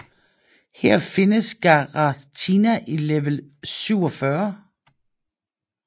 Her findes Giratina i level 47